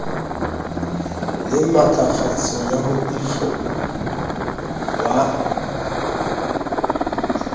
le matlafatso ya moifo wa